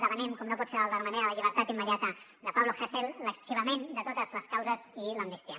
demanem com no pot ser d’altra manera la llibertat immediata de pablo hasél l’arxivament de totes les causes i l’amnistia